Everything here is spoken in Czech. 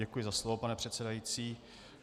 Děkuji za slovo, pane předsedající.